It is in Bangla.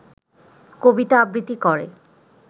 কবিতা আবৃত্তি করে